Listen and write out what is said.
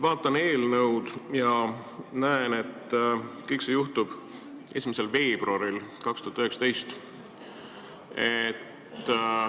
Vaatan eelnõu ja näen, et kõik see juhtub 1. veebruaril 2019.